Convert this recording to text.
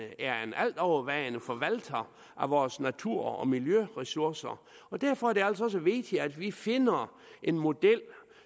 altovervejende forvalter af vores natur og miljøressourcer og derfor er det altså også vigtigt at vi finder en model